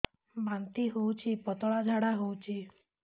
ବାନ୍ତି ହଉଚି ପତଳା ଝାଡା ହଉଚି